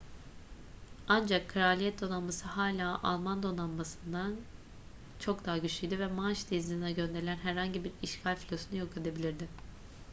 ancak kraliyet donanması hala alman donanmasından kriegsmarine çok daha güçlüydü ve manş denizi'ne gönderilen herhangi bir işgal filosunu yok edebilirdi